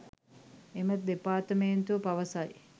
එම දෙපාර්තමේන්තුව පවසයි